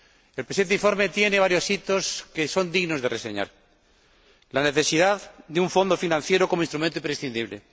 El presente informe tiene varios hitos que son dignos de reseñar la necesidad de un fondo financiero como instrumento imprescindible